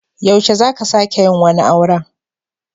Yaushe za ka sake yin wani auren?